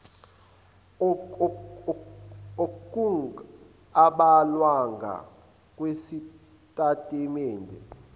okung abhalwanga kwisitatimende